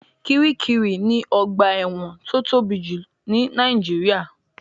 Kiríkirì ni ọgbà ẹ̀wọ̀n tó tóbi jù ní Nàìjíríà.